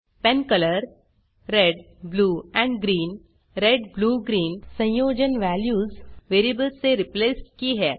pen colour red blue और green red blue green संयोजन values variables से रिप्लेस की हैं